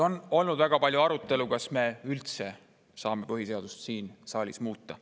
On olnud väga palju arutelu, kas me üldse saame põhiseadust siin saalis muuta.